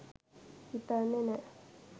හිතන්නෙ නෑ.